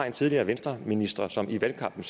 en tidligere venstreminister som i valgkampen